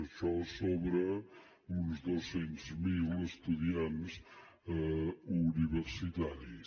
això sobre uns doscents mil estudiants universitaris